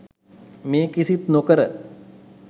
මේ කිසිත් නොකර